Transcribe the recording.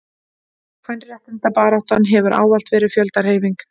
kvenréttindabaráttan hefur ávallt verið fjöldahreyfing